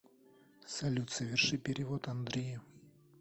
салют соверши перевод андрею